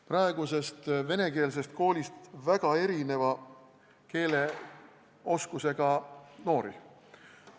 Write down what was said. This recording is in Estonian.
Praegusest venekeelsest koolist tuleb väga erineva keeleoskusega noori.